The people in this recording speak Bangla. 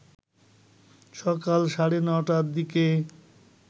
সকাল সাড়ে ৯টার দিকে